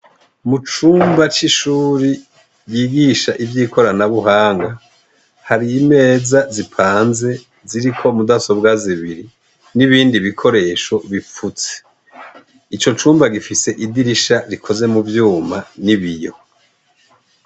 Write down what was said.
Mu cumba c'ishuri ryigisha ivyikoranabuhanga, hari imeza zipanze ziriko mudasobwa zibiri n'ibindi bikoresho bipfutse. Ico cumba gifise idirisha rikoze mu vyuma n'ibiyo.